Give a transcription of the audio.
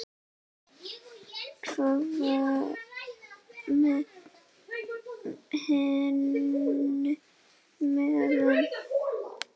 Hvað með hin liðin?